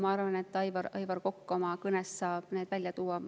Ma arvan, et Aivar Kokk oma kõnes saab selle välja tuua.